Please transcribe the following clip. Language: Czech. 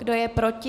Kdo je proti?